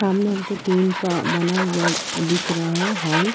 सामने हमको टीन का बना हुआ अ दिख रहा है हॉल --